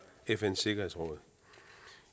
fns sikkerhedsråd